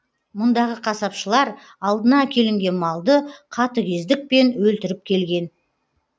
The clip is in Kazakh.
мұндағы қасапшылар алдына әкелінген малды қатігездікпен өлтіріп келген